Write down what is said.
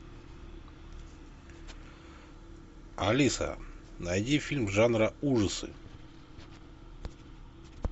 алиса найди фильм жанра ужасы